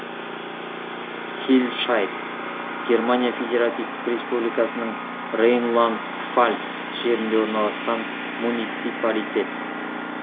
хилльшайд германия федеративтік республикасының рейнланд пфальц жерінде орналасқан муниципалитет